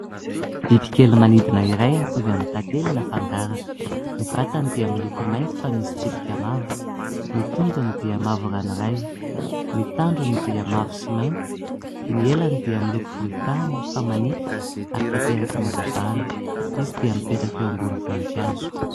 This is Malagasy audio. Biby kely manidina iray mitovy amin'ny tantely na fangaraka. Ny vatany dia miloko mainty fa misy tsipika mavo, ny tongony dia mavo ranoray, ny tandrony dia mavo sy mainty, ny elany dia miloko volontany fa manify ary tanterakan' ny hazavana. Izy dia mipetraka eo ambon'ny voninkazo.